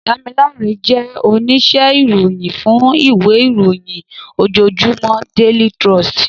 Damilare jè óníṣè iróyin fún iwé iróyin ójójúmò déli tròstí